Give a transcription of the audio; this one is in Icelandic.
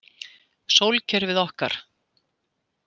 Sólkerfið okkar.